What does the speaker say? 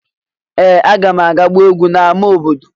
Ee! Aga m aga gbaa egwú n’ámá obodo.